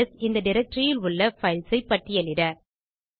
LS இந்த directoryயில் உள்ள பைல்ஸ் பட்டியலிட